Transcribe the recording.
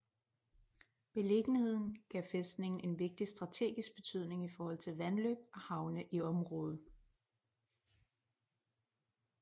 Beliggenheden gav fæstningen en vigtig strategisk betydning i forhold til vandløb og havne i området